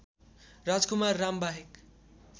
राजकुमार राम बाहेक